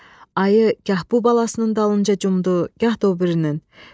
Ayı gah bu balasının dalınca cumdu, gah da o birinin.